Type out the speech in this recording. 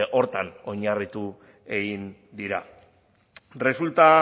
horretan oinarritu egin dira resulta